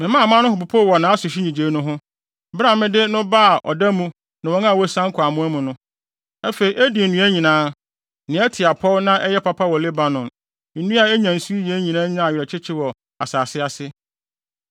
Memaa aman no ho popoo wɔ nʼasehwe nnyigyei no ho, bere a mede no baa ɔda mu ne wɔn a wɔasian kɔ amoa mu no. Afei Eden nnua nyinaa, nea ɛte apɔw na ɛyɛ papa wɔ Lebanon, nnua a enya nsu yiye nyinaa nyaa awerɛkyekye wɔ asase ase.